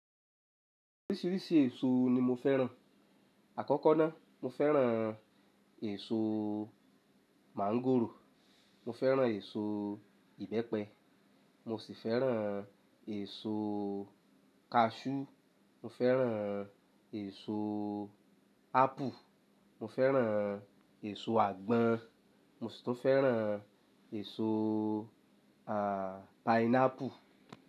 Oríṣiríṣi èso ni mo fẹ́ràn. Àkọ́kọ́ náà, mo fẹ́ràn èso máńgòrò, mo fẹ́ràn èso ìbẹ́pẹ, mo sì fẹ́ràn èso kaṣú, mo fẹ́ràn èso ápù, mo fẹ́ràn èso àgbọn, mo sì tún fẹ́ràn èso, à, páínápù.